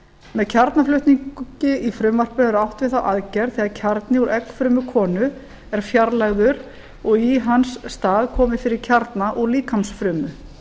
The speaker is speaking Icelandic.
með kjarnaflutningi í frumvarpinu er átt við þá aðgerð þegar kjarni úr eggfrumu konu er fjarlægður og í hans stað komið fyrir fyrir kjarna úr líkamsfrumu